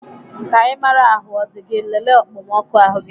Ka Ị maraa ahụ ọ dị gị, lelee okpomọkụ ahụ gị.